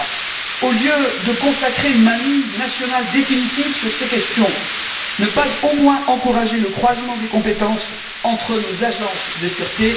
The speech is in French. Pourquoi, au lieu de consacrer une mainmise nationale définitive sur ces questions, ne pas au moins encourager le croisement des compétences entre nos agences de sûreté?